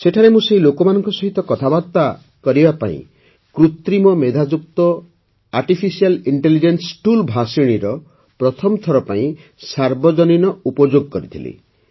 ସେଠାରେ ମୁଁ ସେହି ଲୋକଙ୍କ ସହିତ କଥାବାର୍ତ୍ତା କରିବା ପାଇଁ କୃତ୍ରିମ ମେଧାଯୁକ୍ତ ଏଆଇ ଟୁଲ୍ ଭାଷିଣୀର ପ୍ରଥମ ଥର ପାଇଁ ସାର୍ବଜନୀନ ଉପଯୋଗ କରିଥିଲି